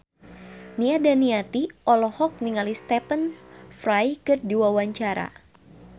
Nia Daniati olohok ningali Stephen Fry keur diwawancara